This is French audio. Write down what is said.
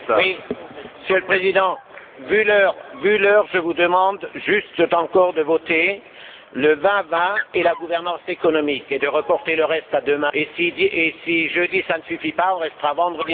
Monsieur le Président, compte tenu de l'heure, je vous demande juste encore de voter sur l'UE 2020 et la gouvernance économique, et de reporter le reste à demain, et si jeudi, cela ne suffit pas, on restera vendredi matin.